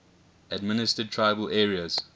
administered tribal areas